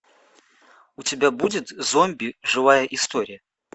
у тебя будет зомби живая история